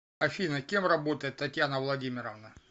афина кем работает татьяна владимировна